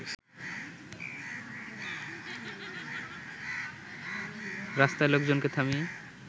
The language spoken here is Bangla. রাস্তায় লোকজনকে থামিয়ে